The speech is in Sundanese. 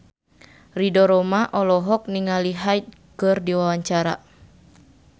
Ridho Roma olohok ningali Hyde keur diwawancara